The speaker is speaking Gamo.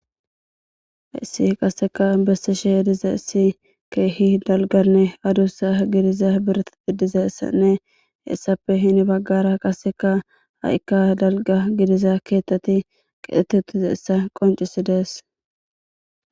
Issi qaseka besse she ediza issi keehi dalganne adussa gidiza birti biddizessanne essappe hini baggara qaseka ha'ikka dalga gidiza keetteti qetheti uttize essa qoncisi dees.